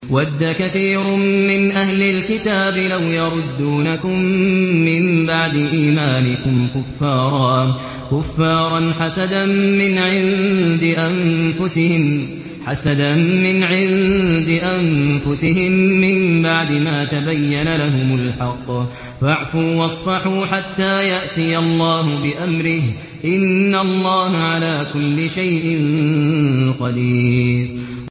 وَدَّ كَثِيرٌ مِّنْ أَهْلِ الْكِتَابِ لَوْ يَرُدُّونَكُم مِّن بَعْدِ إِيمَانِكُمْ كُفَّارًا حَسَدًا مِّنْ عِندِ أَنفُسِهِم مِّن بَعْدِ مَا تَبَيَّنَ لَهُمُ الْحَقُّ ۖ فَاعْفُوا وَاصْفَحُوا حَتَّىٰ يَأْتِيَ اللَّهُ بِأَمْرِهِ ۗ إِنَّ اللَّهَ عَلَىٰ كُلِّ شَيْءٍ قَدِيرٌ